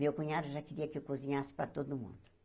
Meu cunhado já queria que eu cozinhasse para todo mundo.